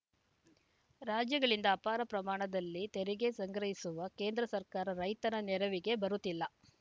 ರಾಜ್ಯಗಳಿಂದ ಅಪಾರ ಪ್ರಮಾಣದಲ್ಲಿ ತೆರಿಗೆ ಸಂಗ್ರಹಿಸುವ ಕೇಂದ್ರ ಸರ್ಕಾರ ರೈತನ ನೆರವಿಗೆ ಬರುತ್ತಿಲ್ಲ